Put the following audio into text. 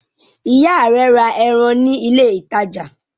Ìyá rẹ ra ẹran ní ilé-ìtajà?